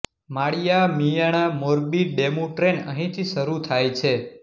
માળિયા Miyana Morbi DEMU train અહીંથી શરૂ થાય છે